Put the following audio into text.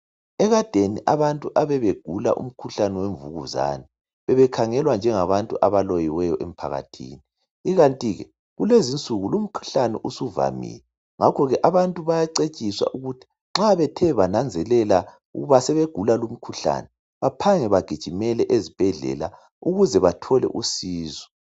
ekadeni abantu ebebegula umkhuhlane wemvukuzane bebekhangelwa njengabantu abaloyiwyo emphakathini ikanti ke kilezinsuku lumkhuhlane usuvamile ngakho ke abantu baacetshiswa ukuthi nxa bethe bananzelela ukuba sebegula lu mkhuhlane baphange bagijimele ezibhedlela ukuze bathole usizo